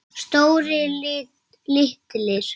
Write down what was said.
Stórir, litlir.